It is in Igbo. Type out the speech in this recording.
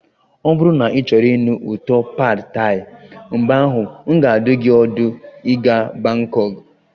Ọ bụrụ na ịchọrọ ịnụ ụtọ pad Thai, mgbe ahụ, m ga-adụ gị ọdụ ịga Bangkok